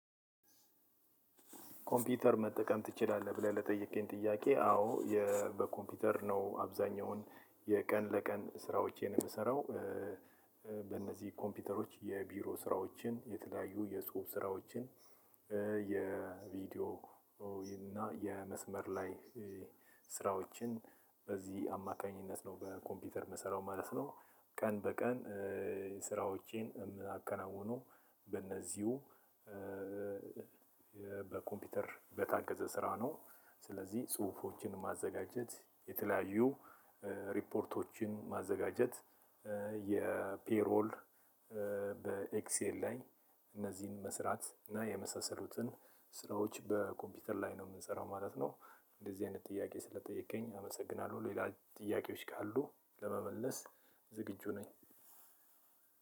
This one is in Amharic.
"ኮምፒውተር መጠቀም ትችላለህ?" ብለህ ለጠየከኝ ጥያቄ አዎ በኮምፒውተር ነው አብዛኛውን የቀን ለቀን ስራዎቼን የምሰራው። በእነዚህ ኮምፒውተሮች የቢሮ ስራዎችን፣ የተለያዩ የጽሁፍ ስራዎችን፣ የቪዲዮ እና የመስመር ላይ ስራዎችን በዚህ አማካኝነት ነው በኮምፒውተር የምሰራው ማለት ነው። ቀን በቀን ስራዎቼን የማከናውነው በእነዚሁ በኮምፒውተር በታገዘ ስራ ነው። ስለዚህ ጽሁፎችን ማዘጋጀት የተለያዩ ሪፖርቶችን ማዘጋጀት የፔሮል በኤክሴል ላይ እነዚህን መስራት እና የመሳሰሉትን ስራዎች በኮምፒውተር ላይ ነው የምንሰራው ማለት ነው። እንደዚህ አይነት ጥያቄ ስለጠየከኝ አመሰግናለሁ። ሌላ ጥያቄዎች ካሉህ ለመመለስ ዝግጁ ነኝ።